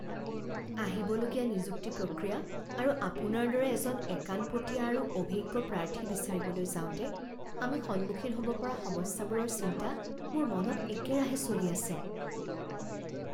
আহিবলগীয়া নিযুক্তি প্ৰক্ৰিয়া আৰু আপোনাৰ দৰে এজন একাণপতীয়া আৰু অভিজ্ঞ প্ৰাৰ্থী বিচাৰিবলৈ যাওঁতে আমি সন্মুখীন হ'ব পৰা সমস্যাবোৰৰ চিন্তা মোৰ মনত একেৰাহে চলি আছে।